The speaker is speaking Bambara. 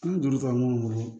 An ye duuru ta mun bolo